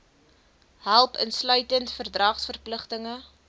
help insluitend verdragsverpligtinge